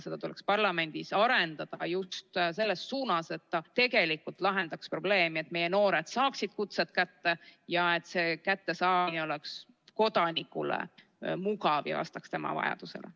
Seda tuleks parlamendis arendada just selles suunas, et see tegelikult lahendaks probleemi, et meie noored saaksid kutsed kätte ja et see kättesaamine oleks kodanikule mugav ja vastaks tema vajadustele.